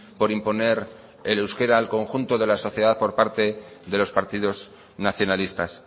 por imponer el euskera al conjunto de la sociedad por parte de los partidos nacionalistas